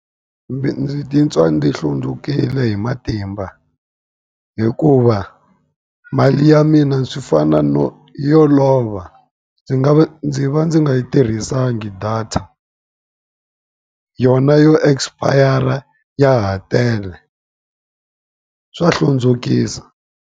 ndzi titwa ndzi hlundzukile hi matimba hikuva, mali ya mina swi fana no yo lova. Ndzi nga ndzi va ndzi nga yi tirhisanga data, yona yo expire-ra ya ha tele. Swa hlundzukisa.